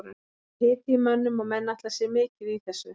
Það var hiti í mönnum og menn ætla sér mikið í þessu.